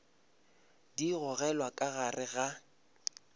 di gogelwa ka gare ga